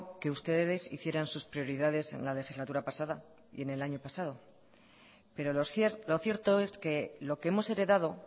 que ustedes hicieran sus prioridades en la legislatura pasada y en el año pasado pero lo cierto es que lo que hemos heredado